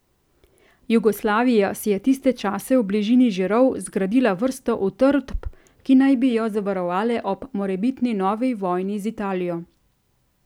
Jugoslavija si je tiste čase v bližini Žirov zgradila vrsto utrdb, ki naj bi jo zavarovale ob morebitni novi vojni z Italijo.